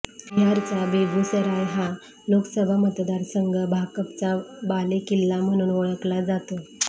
बिहारचा बेगूसराय हा लोकसभा मतदारसंघ भाकपचा बालेकिल्ला म्हणून ओळखला जातो